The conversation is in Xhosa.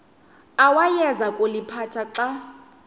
awayeza kuliphatha xa